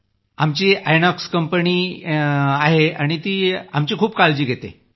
आमची आयनॉक्स कंपनीही आम्हा लोकांची खूप काळजी घेते